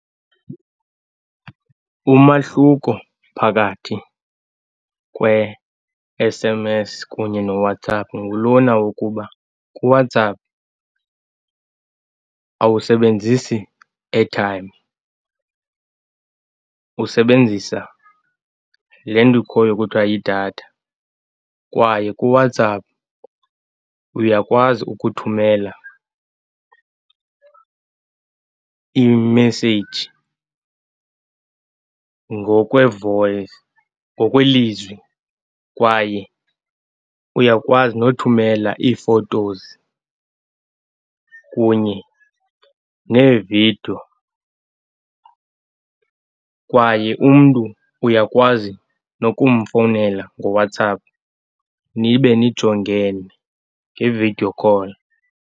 Umahluko phakathi kwe-S_M_S kunye noWhatsApp ngulona wokuba kuWhatsApp awusebenzisi airtime, usebenzisa le nto ikhoyo kuthwa yidatha. Kwaye kuWhatsApp uyakwazi ukuthumela imeseyiji ngokwevoyisi, ngokwelizwi, kwaye uyakwazi nothumela ii-photos kunye neevidiyo. Kwaye umntu uyakwazi nokumfowunela ngoWhatsApp, nibe nijongene nge-video call.